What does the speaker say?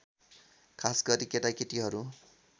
खासगरी केटाकेटीहरू